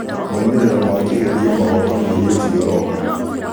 moimĩrĩro ma kĩgerio magoka mweri ũcio ũroka